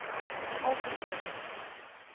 algemene